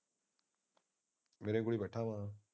ਮੇਰੇ ਕੋਲ ਹੀ ਬੈਠਾ ਵਾ।